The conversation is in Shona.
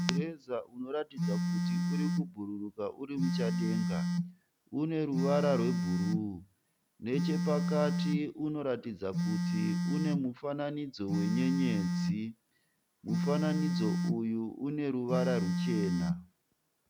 Mureza unoratidza kuti uri kubhururuka uri muchadenga. Une ruvara rwebhuruu neche pakati unoratidza kuti une mufananidzo wenyenyedzi. Mufananidzo uyu une ruvara rwuchena.